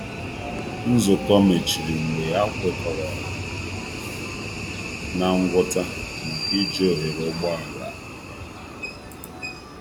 Nzukọ mechịrị mgbe a kwekọrọ na ngwọta maka iji oghere ụgbọala.